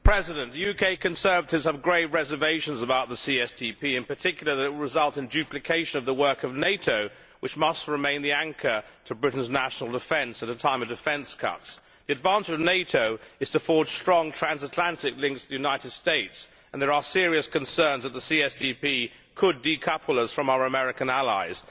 Mr President, UK Conservatives have grave reservations about the CSDP, in particular that it will result in duplication of the work of NATO, which must remain the anchor to Britain's national defence at a time of defence cuts. The advantage of NATO is to forge strong transatlantic links with the United States and there are serious concerns that the CSDP could decouple us from our American allies.